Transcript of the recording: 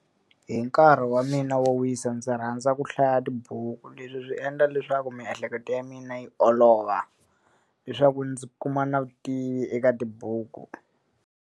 Hi nkarhi wa mina wo wisa ndzi rhandza ku hlaya tibuku, leswi swi endla leswaku miehleketo ya mina yi olova. Leswaku ndzi kuma na vutivi eka tibuku.